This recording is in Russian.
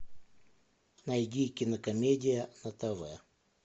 найди кинокомедия на тв